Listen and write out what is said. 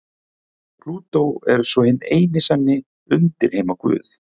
Plútó er svo hinn eini sanni undirheimaguð.